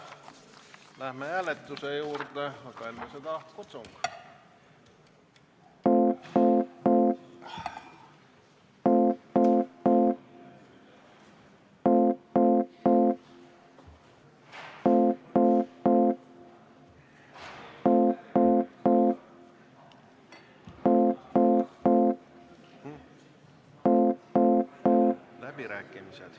Läheme hääletuse juurde, aga enne seda kutsung.